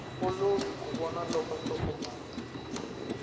olovi ku vona loko nhlokomhaka